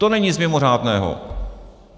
To není nic mimořádného.